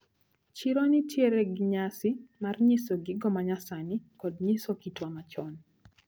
Chiro nitiere gi nyasi mar nyiso gigo manyasani kod nyiso kitwa machon.